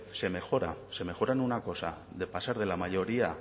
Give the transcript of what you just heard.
se mejora se mejora en una cosa de pasar de la mayoría